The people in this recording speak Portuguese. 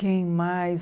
Quem mais?